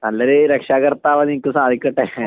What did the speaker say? നല്ലൊരു രക്ഷകർത്താവാകാൻ നിനക്ക് സാധിക്കട്ടെ